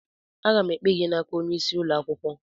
Aga m ekpe gị n'aka onye isi ụlọ akwụkwọ